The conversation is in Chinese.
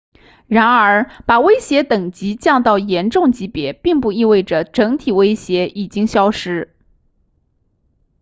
然而把威胁等级降到严重级别并不意味着整体威胁已经消失